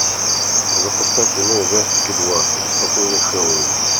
запускай кино ужастики два беспокойный хэллоуин